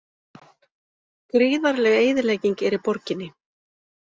Gríðarleg eyðilegging er í borginni